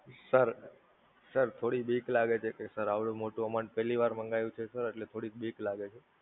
sir sir થોડી બીક લાગે છે, કે Sir આવડું મોટું amount પેલ્લી વાર મંગાવ્યું છે Sir એટલે થોડીક બીક લાગે છે!